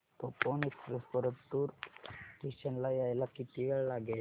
Tapovan express Partur station ला यायला किती वेळ लागेल